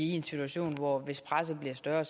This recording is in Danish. i en situation hvor vi hvis presset bliver større